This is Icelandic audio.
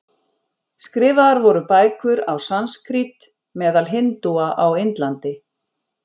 Skrifaðar voru bækur á sanskrít meðal hindúa á Indlandi.